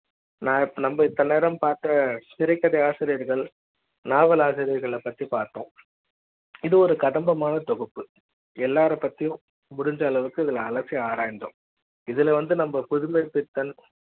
நம்ப இத்தநேரம் பார்த்த திரைக்கதை ஆசிரியர்கள் நாவலாசிரியர்கள் பற்றி பார்த்தோம் இது ஒரு கதம்ப மான தொகுப்பு எல்லாரும் பத்தி முடிஞ்ச அளவுக்கு அலசி ஆராய்ந்தோம் இதுல வந்து நம்ம புதுமைப்பித்தன்